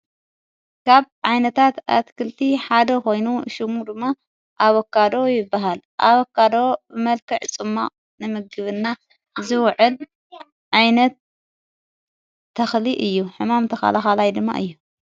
ካብ ዓይነታት ኣትክልቲ ሓደ ኾይኑ ሹሙ ድማ ኣበካዶ ይበሃል ኣበካዶ ብመልከዕ ፁማቅ ንምግብና ዝውዕል ዓይነት ተኽሊ እዩ ሕማም ተኻልኻላይ ድማ እዩ።